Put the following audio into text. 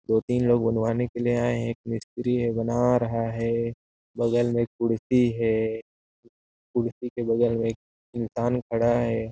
दो तीन लोग बनवाने के लिए हैं एक मस्त्री हैं बना रहा हैं बगल मे एक कुर्ती हैं कुर्ती के बगल मे एक इंसान खड़ा हैं।